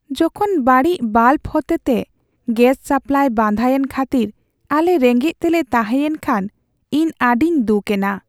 ᱡᱚᱠᱷᱚᱱ ᱵᱟᱹᱲᱤᱡ ᱵᱟᱞᱵ ᱦᱚᱛᱮᱛᱮ ᱜᱮᱥ ᱥᱟᱯᱞᱟᱭ ᱵᱟᱫᱷᱟᱭᱮᱱ ᱠᱷᱟᱹᱛᱤᱨ ᱟᱞᱮ ᱨᱮᱸᱜᱮᱡ ᱛᱮᱞᱮ ᱛᱟᱦᱮᱸᱭᱮᱱ ᱠᱷᱟᱱ ᱤᱧ ᱟᱹᱰᱤᱧ ᱫᱩᱠ ᱮᱱᱟ ᱾